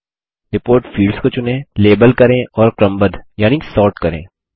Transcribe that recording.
report fields को चुनें label करें और क्रमबद्ध यानि सोर्ट करें